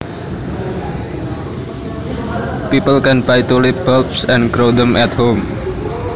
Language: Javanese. People can buy tulip bulbs and grow them at home